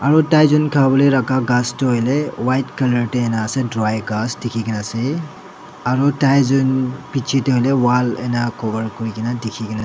aro taijon khawolae rakha ghas toh white colour taena ase dry ghas dikhikaena ase aru taijon bichae tae hoilae wall ena cover kurikae na dikhi--